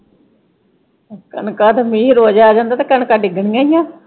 ਕਣਕਾਂ ਤੇ ਮੀਂਹ ਰੋਜ ਆ ਜਾਂਦਾ ਤੇ ਕਣਕਾਂ ਡਿੱਗਣੀਆਂ ਈ ਆਂ।